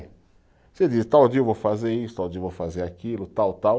Você diz, tal dia eu vou fazer isso, tal dia eu vou fazer aquilo, tal, tal